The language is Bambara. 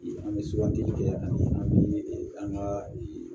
An bɛ sugandili kɛ ani an ka